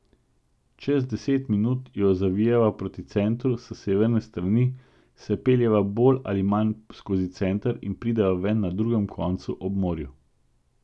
Čez deset minut jo zavijeva proti centru s severne strani, se peljeva bolj ali manj skozi center in prideva ven na drugem koncu, ob morju.